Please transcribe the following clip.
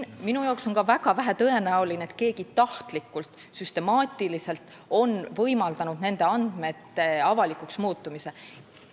Ka minu arvates on väga vähe tõenäoline, et keegi on tahtlikult ja süstemaatiliselt võimaldanud nende andmete avalikuks muutumist.